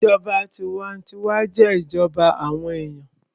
Ìjọba tinwatinwa jẹ́ ìjọba àwọn èèyàn